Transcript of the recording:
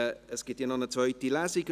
Es gibt ja noch eine zweite Lesung.